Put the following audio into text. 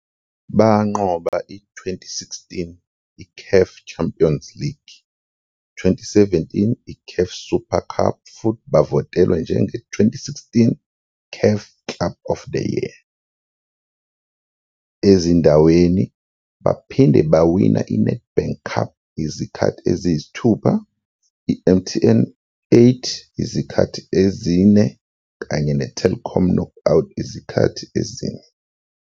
Banqoba i-2016 I-CAF Champions League, i-2017 I-CAF Super Cup futhi bavotelwa njenge-2016 CAF Club of the Year. Ezindaweni, baphinde bawina INedbank Cup izikhathi eziyisithupha, I-MTN 8 izikhathi ezine kanye ne-Telkom Knockout izikhathi ezine.